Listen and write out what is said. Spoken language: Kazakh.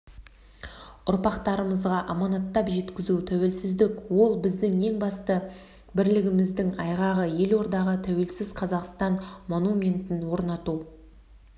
ұрпақтарымызға аманаттап жеткізу тәуелсіздік ол біздің ең басты бірлігіміздің айғағы елордаға тәуелсіз қазақстан монументін орнату